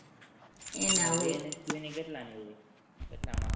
એના હોય